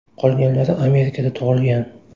Qolganlari Amerikada tug‘ilgan.